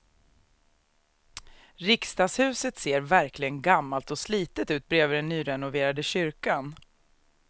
Riksdagshuset ser verkligen gammalt och slitet ut bredvid den nyrenoverade kyrkan.